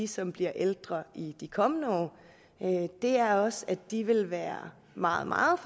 som bliver ældre i de kommende år er også at de vil være meget meget